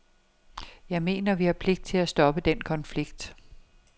Jeg mener, at vi har pligt til at stoppe den konflikt.